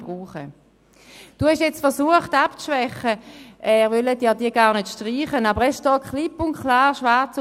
Sie haben jetzt abzuschwächen versucht, man wolle diese gar nicht streichen, aber es steht klipp und klar, schwarz auf weiss: